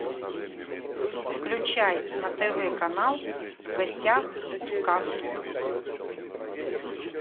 включай на тв канал в гостях у сказки